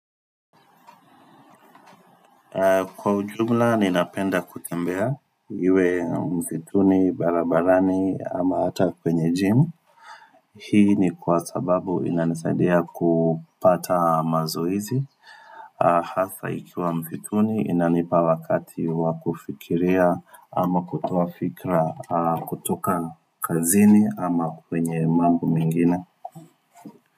Kwa ujumla, ninapenda kutembea iwe msituni, barabarani ama hata kwenye gym. Hii ni kwa sababu inanisaidia kupata mazoezi. Hasa ikiwa msituni, inanipa wakati wa kufikiria ama kutoa fikra kutoka kazini ama kwenye mambo mengine.